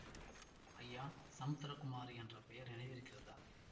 ஐயா சமுத்திர குமாரி என்ற பெயர் நினைவிருக்கிறதா